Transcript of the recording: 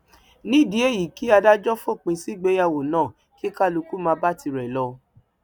nídìí èyíi kí adájọ fòpin sí ìgbéyàwó náà kí kálukú máa bá tirẹ lọ